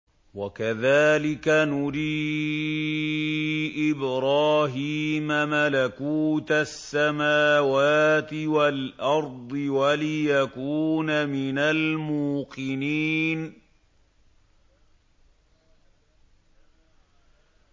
وَكَذَٰلِكَ نُرِي إِبْرَاهِيمَ مَلَكُوتَ السَّمَاوَاتِ وَالْأَرْضِ وَلِيَكُونَ مِنَ الْمُوقِنِينَ